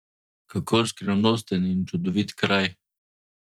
Kako skrivnosten in čudovit kraj!